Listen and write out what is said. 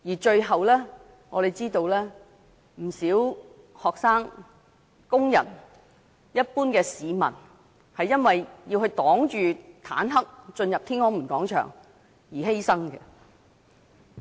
最後，我們知道有不少學生、工人和一般市民，因為要抵擋坦克車進入天安門廣場而犧牲。